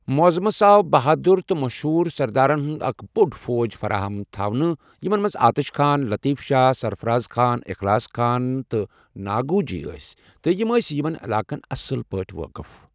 معظمس آو بہادر اور مشہور سردارن ہٗند اكھ بو٘ڑ فوج فراہم تھونہٕ یِمن منز آتش خان، لطیف شاہ، سرفراز خان، اخلاص خان، تہٕ ناگوجی ٲسہِ تہ یم آس یمن علاقن اصل پٲٹھہِ وٲقف ۔